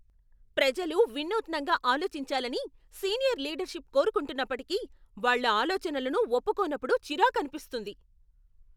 ప్రజలు వినూత్నంగా ఆలోచించాలని సీనియర్ లీడర్షిప్ కోరుకుంటున్నప్పటికీ, వాళ్ళ ఆలోచనలను ఒప్పుకోనప్పుడు చిరాకనిపిస్తుంది.